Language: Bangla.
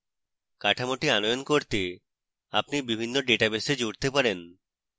কাঠামোটি আনয়ন করতে আপনি বিভিন্ন ডেটাবেসে জুড়তে পারেন